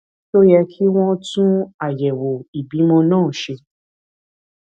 ṣé ó yẹ kí wón tún àyèwò ìbímọ náà ṣe